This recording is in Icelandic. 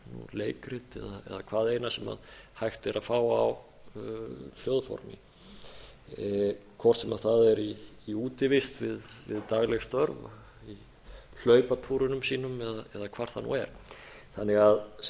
leikrit eða hvað eina sem hægt er að fá í hljóðformi hvort sem það er í útivist við dagleg störf í hlaupatúrum sínum eða hvar það nú er sem